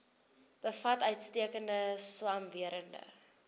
bevat uitstekende swamwerende